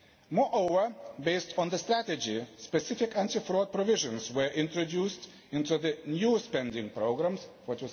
Moreover, based on the strategy, specific anti fraud provisions were introduced into the new spending programmes for